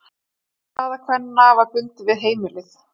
Staða kvenna var bundin við heimilið.